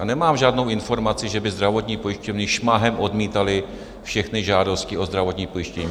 A nemám žádnou informaci, že by zdravotní pojišťovny šmahem odmítaly všechny žádosti o zdravotní pojištění.